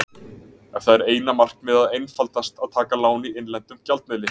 Ef það er eina markmiðið er einfaldast að taka lán í innlendum gjaldmiðli.